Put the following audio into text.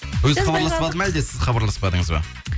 өзі хабарласпады ма әлде сіз хабарласпадыңыз ба